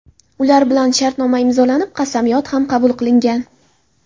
Ular bilan shartnomalar imzolanib, qasamyod ham qabul qilingan.